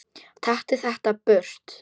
Taktu þetta burt!